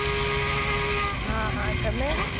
હાં હાં તમે?